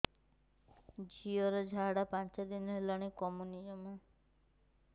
ଝିଅର ଝାଡା ପାଞ୍ଚ ଦିନ ହେଲାଣି କମୁନି ଜମା